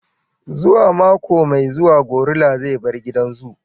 Zuwa mako mai zuwa gorilla zai bar gidan zoo.